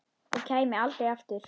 Og kæmi aldrei aftur.